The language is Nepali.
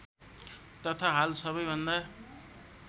तथा हाल सबैभन्दा